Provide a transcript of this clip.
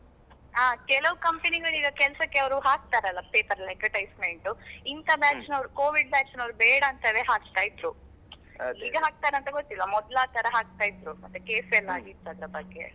ಹಾ ಕೆಲವ್ company ಗಳು ಕೆಲ್ಸಕ್ಕೆ ಅವ್ರು ಹಾಕ್ತಾರಲ್ಲ paper ಅಲ್ಲಿ advertisement ಇಂತ batch ನವ್ರು Covid batch ನವರು ಬೇಡ ಅಂತವೇ ಹಾಕ್ತಾ ಇದ್ರು. ಈಗ ಹಾಕ್ತರ ಅಂತ ಗೊತ್ತಿಲ್ಲ ಮೊದ್ಲು ಆ ತರ ಹಾಕ್ತಾ ಇದ್ರೂ ಮತ್ತೆ case ಎಲ್ಲಾ ಆಗಿತ್ತು ಅದರ ಬಗ್ಗೆ.